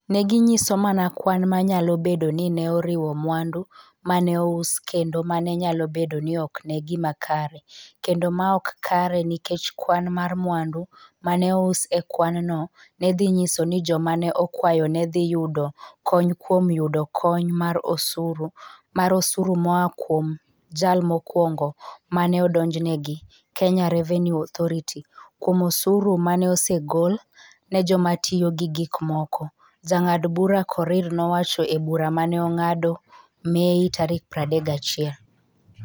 Ne ginyiso mana kwan ma nyalo bedo ni ne oriwo mwandu ma ne ous kendo mano nyalo bedo ni ok en gima kare kendo ma ok kare nikech kwan mar mwandu ma ne ous e kwanno ne dhi nyiso ni joma ne okwayo ne dhi yudo kony kuom yudo kony mar osuru mar osuru moa kuom jal mokwongo ma ne odonjnegi - Kenya Revenue Authority (KRA) - kuom osuru ma ne osegol ne joma tiyo gi gik moko, Jang'ad Bura Korir nowacho e bura ma ne ong'ado Mei 31.